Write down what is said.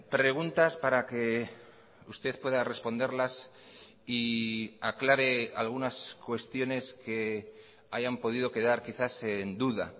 preguntas para que usted pueda responderlas y aclare algunas cuestiones que hayan podido quedar quizás en duda